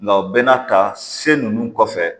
Nka o bɛna ta se ninnu kɔfɛ